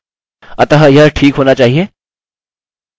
मैं इसे कॉपी करता हूँ और यहाँ पेस्ट करता हूँ